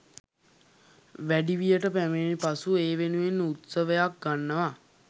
වැඩිවියට පැමිණි පසු ඒ වෙනුවෙන් උත්සවයක් ගන්නවා